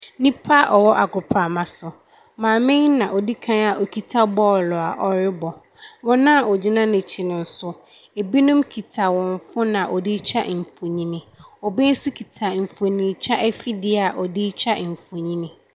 Nnipa a ɛwɔ agoprama so, maame yi na odi kan a okita bɔɔlo a ɔrebɔ. Wɔn a wɔgyina n’akyi no nso no, binom kita wɔn phone a wɔde retwa mfonini, obi nso kita mfonintwa afidie a ɔde retwa mfonini.